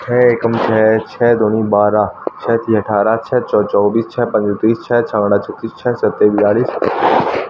छे एकम छे छे दुनी बारह छे तियां अठारह छे चउ चौबीस छे पंजे तीस छे झांकडा छत्तीस छे साते बयालिश --